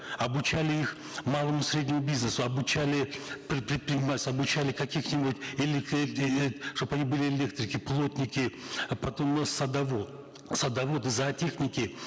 обучали их малому и среднему бизнесу обучали предпринимательству обучали каких нибудь чтобы они были электрики плотники потом садоводы зоотехники